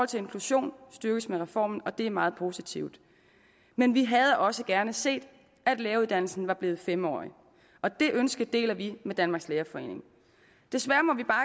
til inklusion styrkes med reformen og det er meget positivt men vi havde også gerne set at læreruddannelsen var blevet fem årig og det ønske deler vi med danmarks lærerforening desværre må vi bare